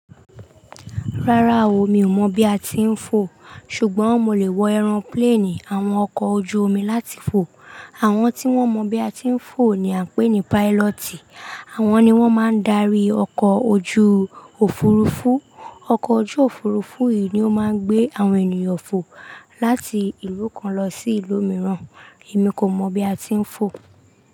Rárá o, mi ò mọ̀ bí a ti ń fo, ṣùgbọ́n mo lè wo ẹran plane, àwọn ọkọ̀ ojú omi láti fo. Àwọn tí wọ́n mọ̀ bí a ti ń fo ni à ń pè ní pilot. Àwọn ni wọ́n máa ń darí ọkọ̀ ojú òfurufú. Ọkọ̀ ojú òfurufú yìí ni ó máa ń gbé àwọn ènìyàn fo láti ìlú kan lọ sí ìlú mìíràn. Èmi kò mọ̀ bí a ti ń fo.